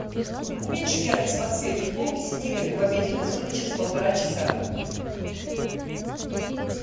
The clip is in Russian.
уменьши яркость подсветки полки с книгами в обеденной зоне через полтора часа